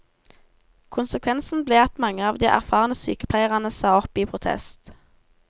Konsekvensen ble at mange av de erfarne sykepleierne sa opp i protest.